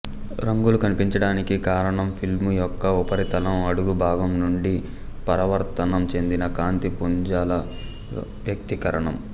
రంగులు కనిపించడానికి కారణం ఫిల్ము యొక్క ఉపరితలం అడుగు భాగం నుండి పరావర్తనం చెందిన కాంతి పుంజాల వ్యతికరణం